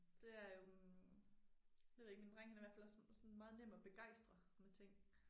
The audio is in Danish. Det er jo øh det ved jeg ikke min dreng han er i hvert fald også sådan meget nem at begejstre med ting